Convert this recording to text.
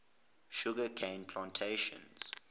sugar cane plantations